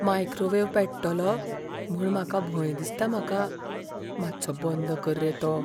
Microwave पेट्टलो म्हूण म्हाका भंय दिसता म्हाका. मात्सो बंद कर रे तो.